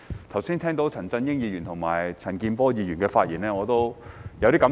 剛才聽到陳振英議員和陳健波議員的發言，我有些感受。